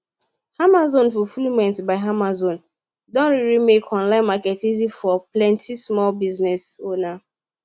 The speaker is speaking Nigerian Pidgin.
amazon fulfilment by amazon don really make online market easy for plenty small business owner